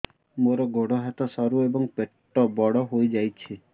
ମୋର ଗୋଡ ହାତ ସରୁ ଏବଂ ପେଟ ବଡ଼ ହୋଇଯାଇଛି